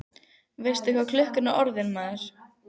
Veistu ekki hvað klukkan er orðin, maður?